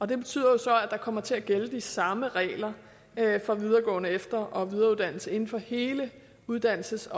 det betyder jo så at der kommer til at gælde de samme regler for videregående efter og videreuddannelse inden for hele uddannelses